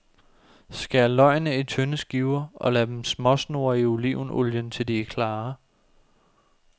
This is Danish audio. Skær løgene i tynde skiver og lad dem småsnurre i olivenolien til de er klare.